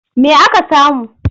Me aka samu?